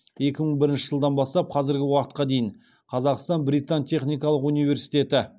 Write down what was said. екі мың бірінші жылдан бастап қазіргі уақытқа дейін қазақстан британ техникалық университеті